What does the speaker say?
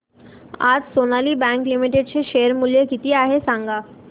आज Sonali bank limited चे share मूल्य किती आहे सांगा